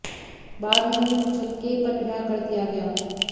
बाद में उन्हें मुचलके पर रिहा कर दिया गया